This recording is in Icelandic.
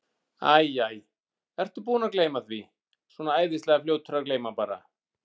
Æ, æ, ertu búinn að gleyma því. svona æðislega fljótur að gleyma bara.